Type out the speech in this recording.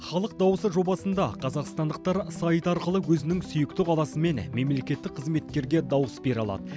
халық дауысы жобасында қазақстандықтар сайт арқылы өзінің сүйікті қаласы мен мемлекеттік қызметкерге дауыс бере алады